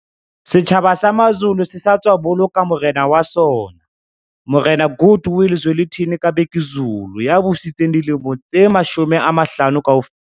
Setjhaba sa Mazulu se sa tswa boloka morena wa sona Morena Goodwill Zwelithini ka Bhekuzulu ya busitseng dilemo tse 50 kaofela.